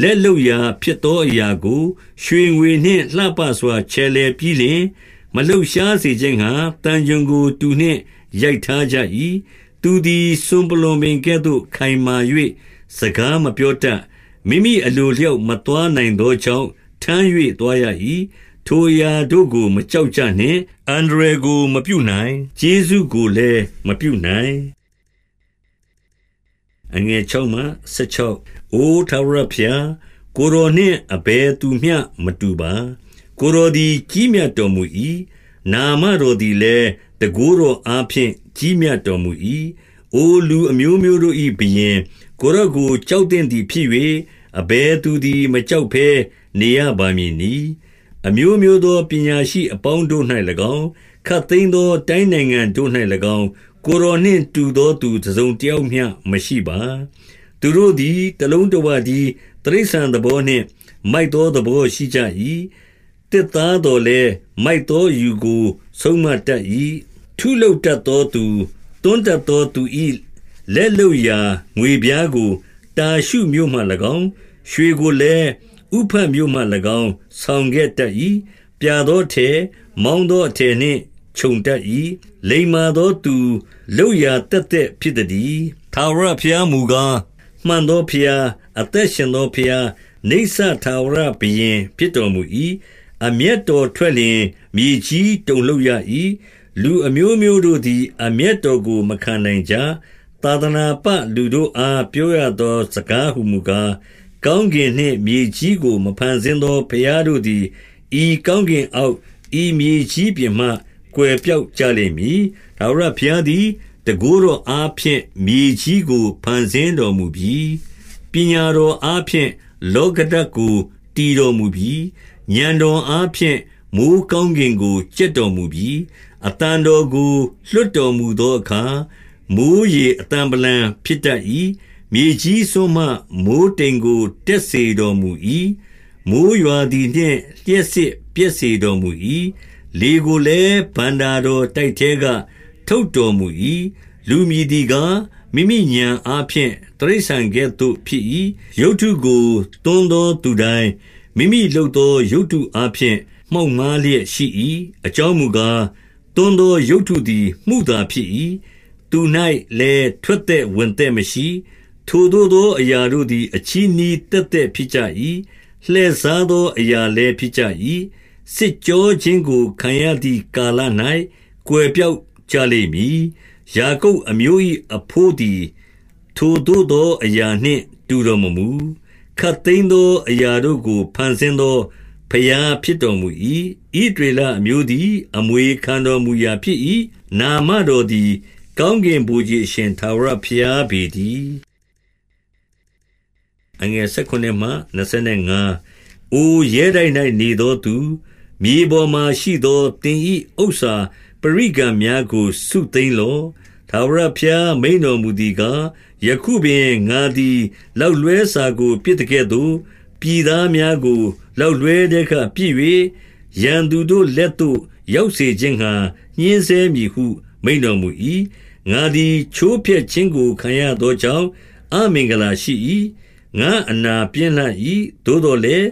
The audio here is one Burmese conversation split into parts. လက်လုပ်ရာဖြစ်သောအရာကို၊ ရွှေငွေနှင့် လှပစွာ ချယ်လှယ်ပြီးလျှင်၊ မလှုပ်ရှား စေခြင်းငှါ သံချွန်ကို တူနှင့်ရိုက်ထားကြ၏။ သူသည် စွန်ပလွံပင်ကဲ့သို့ ခိုင်မာ၍ စကား မပြောတတ်။ မိမိအလိုအလျောက် မသွားနိုင်သော ကြောင့်၊ ထမ်း၍သွားရ၏။ ထိုအရာတို့ကို မကြောက်ကြ နှင့်။ အန္တရာယ်ကိုမပြုနိုင်။ ကျေးဇူးကိုလည်း မပြုနိုင်။ အိုထာဝရဘုရား၊ ကိုယ်တော်နှင့် အဘယ်သူမျှ မတူပါ။ ကိုယ်တော်သည် ကြီးမြတ်တော်မူ၏။ နာမတော် သည်လည်း၊ တန်ခိုးတော်အားဖြင့် ကြီးမြတ်တော်မူ၏။ အိုလူအမျိုးမျိုးတို့၏ ဘုရင်၊ ကိုယ်တော်ကို ကြောက်သင့်သည် ဖြစ်၍၊ အဘယ်သူသည် မကြောက်ဘဲ နေရပါမည်နည်း။ အမျိုးမျိုးသော ပညာရှိအပေါင်းတို့၌၎င်း၊ ခပ်သိမ်းသော တိုင်းနိုင်ငံတို့၌၎င်း ကိုယ်တော်နှင့် တူသောသူတစုံတယောက်မျှ မရှိပါ။ သူတို့သည် တလုံးတဝတည်း တိရစ္ဆာန်သဘော နှင့် မိုက်သော သဘောရှိကြ၏။ သစ်သားသော်လည်း မိုက်သောအယူကို ဆုံးမတတ်၏။ ထုလုပ်တတ်သောသူ၊ သွန်းတတ်သောသူ၏ လက်လုပ်ရာ ငွေပြားကို တာရှုမြို့မှ၎င်း၊ ရွှေကိုလည်း ဥဖတ်မြို့မှ၎င်း ဆောင်ခဲ့တတ်၏။ ပြာသောအထည်၊ မောင်းသောအထည်နှင့်ခြုံတတ်၏။ လိမ္မာသောသူ လုပ်ရာသက်သက်ဖြစ်သတည်း။ ထာဝရဘုရားမူကား၊ မှန်သောဘုရား၊ အသက် ရှင်သောဘုရား၊ နိစ္စထာဝရဘုရင်ဖြစ်တော်မူ၏။ အမျက် တော်ထွက်လျှင် မြေကြီးတုန်လှုပ်ရ၏။ လူအမျိုးမျိုး တို့သည် အမျက်တော်ကို မခံနိုင်ကြ။ သာသနာပ လူတို့အား ပြောရသော စကားဟူမူကား၊ ကောင်းကင်နှင့်မြေကြီးကို မဖန်ဆင်း သော ဘုရားတို့သည် ဤကောင်းကင်အောက်၊ ဤမြေကြီး ပြင်မှ ကွယ်ပျောက်ကြလိမ့်မည်။ ထာဝရဘုရားသည် တန်ခိုးတော်အားဖြင့် မြေကြီးကို ဖန်ဆင်းတော်မူပြီ။ ပညာတော်အားဖြင့် လောကဓာတ်ကို တည်တော်မူပြီ။ ဥာဏ်တော်အားဖြင့် မိုဃ်းကောင်းကင်ကို ကြက်တော်မူပြီ။ အသံတော်ကို လွှတ်တော်မူသောအခါ၊ မိုဃ်းရေ အသံဗလံဖြစ်တတ်၏။ မြေကြီးစွန်းမှ မိုဃ်းတိမ်ကို တက် စေတော်မူ၏။ မိုဃ်းရွာသည်နှင့် လျှပ်စစ်ပြက်စေတော် မူ၏။ လေကိုလည်း၊ ဘဏ္ဍာတော်တိုက်ထဲက ထုတ်တော် မူ၏။ လူမည်သည်ကား၊ မိမိဥာဏ်အားဖြင့် တိရစ္ဆာန် ကဲ့သို့ဖြစ်၏။ ရုပ်တုကို သွန်းသောသူတိုင်း မိမိလုပ်သော ရုပ်တုအားဖြင့် မှောက်မှားလျက် ရှိ၏။ အကြောင်းမူကား၊ သွန်းသောရုပ်တုသည် မုသာဖြစ်၏။ သူ၌လည်း ထွက်သက်ဝင်သက်မရှိ။ ထိုသို့သောအရာတို့သည် အချည်းနှီးသက်သက် ဖြစ်ကြ၏။ လှည့်စားသောအရာလည်းဖြစ်ကြ၏။ စစ်ကြောခြင်းကို ခံရသည်ကာလ၌ ကွယ်ပျောက်ကြ လိမ့်မည်။ ယာကုပ်အမျိုး၏အဘို့သည် ထိုသို့သောအရာ နှင့် တူတော်မမူ။ ခပ်သိမ်းသောအရာတို့ကို ဖန်ဆင်း သော ဘုရားဖြစ်တော်မူ၏။ ဣသရေလအမျိုးသည် အမွေခံတော်မူရာဖြစ်၏။ နာမတော်သည် ကောင်းကင် ဗိုလ်ခြေအရှင်ထာဝရဘုရားပေတည်း။ အိုရဲတိုက်၌နေသောသူ၊ မြေပေါ်မှာရှိသော သင်၏ဥစ္စာပရိကံများကို စုသိမ်းလော့။ ထာဝရဘုရား မိန့်တော်မူသည်ကား၊ ယခုပင် ငါသည်လောက် လွှဲစာကိုပစ်သကဲ့သို့၊ ပြည်သားများကို လောက်လွှဲထဲကပစ်၍၊ ရန်သူတို့ လက်သို့ရောက်စေခြင်း ငှါ ညှဉ်းဆဲမည်ဟု မိန့်တော်မူ၏။ ငါသည် ချိုးဖျက်ခြင်းကိုခံရသောကြောင့် အမင်္ဂလာရှိ၏။ ငါ့အနာ ပြင်းလှ၏။ သို့သော်လည်း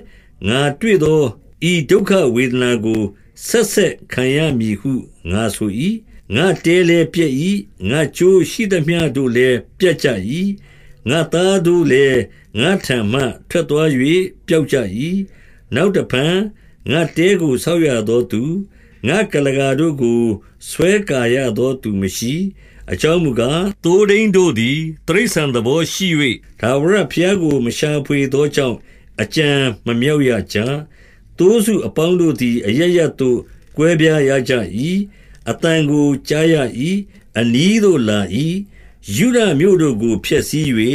၊ ငါတွေ့သော ဤဒုက္ခဝေဒနာကို ဆက်ဆက်ခံရမည်ဟု ငါဆို၏။ ငါ့တဲလည်းပျက်၏။ ငါ့ကြိုးရှိသမျှတို့လည်း ပြတ်ကြ၏။ ငါ့သားတို့လည်း ငါ့ထံမှထွက်သွား၍ ပျောက် ကြ၏။ နောက်တဖန်ငါ့တဲကို ဆောက်ရသောသူ၊ ငါ့ကုလားကာတို့ကို ဆွဲကာရသောသူမရှိ။ အကြောင်းမူကား၊ သိုးထိန်းတို့သည် တိရစ္ဆာန် သဘောရှိ၍၊ ထာဝရဘုရားကို မရှာဖွေသောကြောင့် အကြံမမြောက်ရကြ။ သိုးစုအပေါင်းတို့သည် အရပ်ရပ်သို့ ကွဲပြားရကြ၏။ အသံကိုကြားရ၏။ အနီးသို့လာ၏။ ယုဒမြို့တို့ကို ဖျက်ဆီး၍၊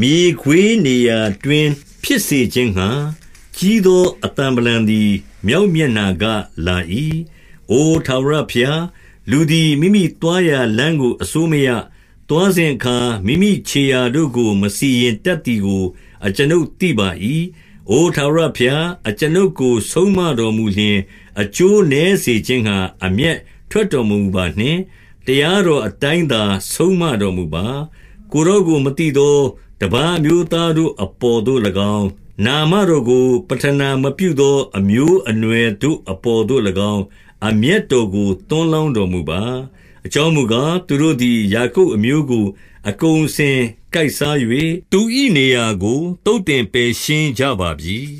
မြေခွေးနေရာတွင် ဖြစ်စေခြင်းငှါ၊ ကြီးသော အသံဗလံသည် မြောက်မျက်နှာကလာ၏။ အိုထာဝရဘုရား၊ လူသည် မိမိသွားရာလမ်းကို အစိုးမရ။ သွားစဉ်အခါမိမိခြေရာတို့ကို မစီရင်တတ်သည် ကို အကျွန်ုပ်သိပါ၏။ အို ထာဝရဘုရား၊ အကျွန်ုပ်ကို ဆုံးမတော်မူ လျှင်၊ အကျိုးနည်းစေခြင်းငှါ အမျက်ထွက်တော်မမူပါနှင့်။ တရားတော်အတိုင်းသာ ဆုံးမတော်မူပါ။ ကိုယ်တော်ကိုမသိသော တပါးအမျိုးသားတို့ အပေါ်သို့၎င်း၊ နာမတော်ကို ပဌနာမပြုသော အမျိုး အနွယ်တို့အပေါ်သို့၎င်း အမျက်တော်ကို သွန်းလောင်း တော်မူပါ။ အကြောင်းမူကား၊ သူတို့သည် ယာကုပ်အမျိုး ကို အကုန်အစင်ကိုက်စား၍၊ သူ၏နေရာကို သုတ်သင် ပယ်ရှားကြပါပြီ